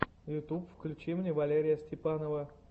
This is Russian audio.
ютуб включи мне валерия степанова